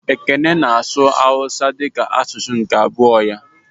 Ekene na-asụ Hausa dịka asụsụ nke abụọ ya